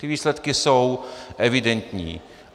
Ty výsledky jsou evidentní.